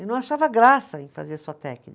Eu não achava graça em fazer só